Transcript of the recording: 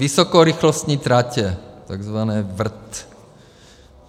Vysokorychlostní tratě, takzvané VRT.